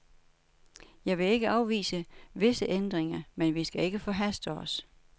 Jeg vil ikke afvise visse ændringer, men vi skal ikke forhaste os.